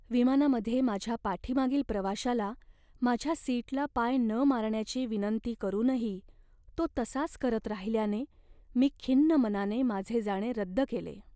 विमानामध्ये माझ्या पाठीमागील प्रवाशाला माझ्या सीटला पाय न मारण्याची विनंती करूनही तो तसाच करत राहिल्याने मी खिन्न मनाने माझे जाणे रद्द केले.